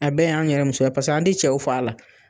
A bɛ y'an yɛrɛ musow ye paseke an tɛ cɛw f'a la.